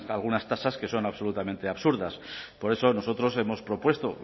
algunas tasas que son absolutamente absurdas por eso nosotros hemos propuesto